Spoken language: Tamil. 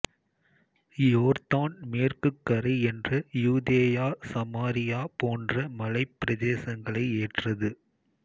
யோர்தான் மேற்குக் கரை என்ற யூதேயா சமாரியா போன்ற மலைப் பிரதேசங்களை ஏற்றது